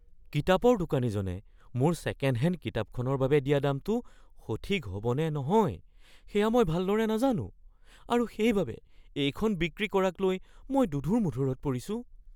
কিতাপৰ দোকানীজনে মোৰ ছেকেণ্ড হেণ্ড কিতাপখনৰ বাবে দিয়া দামটো সঠিক হ'ব নে নহয় সেয়া মই ভালদৰে নাজানো আৰু সেইবাবে এইখন বিক্ৰী কৰাকলৈ মই দোধোৰ-মোধোৰত পৰিছোঁ।